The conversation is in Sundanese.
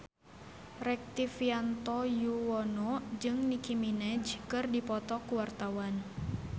Rektivianto Yoewono jeung Nicky Minaj keur dipoto ku wartawan